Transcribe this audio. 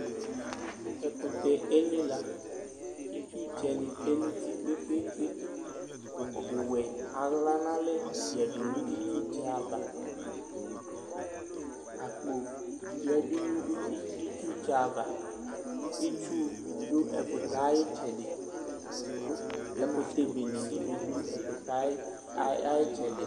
Ɛkutɛ enyila k'itsutsɛ ni tsue nu uti kpekpekpe, ukù wɛ aɣla n'alɛ yadu nu itsutsɛ ava, apko yadu nu itsutsɛ ava, itsu du ɛkutɛ ayi tsɛdi ku ɛkutɛ bene ni bi du ɛkutɛ ayi tsɛdi